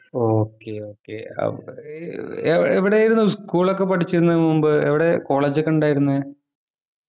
okay okay ഏർ എവി എവിടെയായിരുന്നു school ഒക്കെ പഠിച്ചത് മുമ്പ് എവിടെ college ഒക്കെ ഉണ്ടായിരുന്നെ